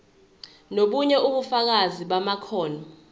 nobunye ubufakazi bamakhono